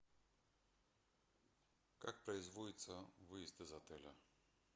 как производится выезд из отеля